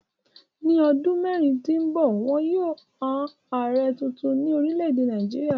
Ní ọdún mẹ́rin tó ń bọ̀, wọn yóò yan Ààrẹ tunrun ní orílẹ̀-èdè Nàìjíríà.